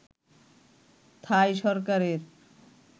থাই সরকারের